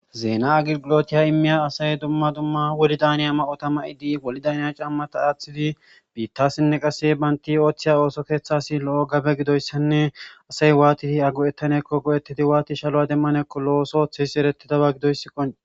Zeena agilgulotiya immiya asay dumma dumma woli daniya ma7ota ma7idi woli daniya cammata aaththidi biittasinne qasse baynti ooththiya ooso keeththasi lo7o gabe gidoyssanne asay waati ago7ettanekko go7ettidi waati shalowa demmanekko lo7osothihisi eretidaba gidoyssikko.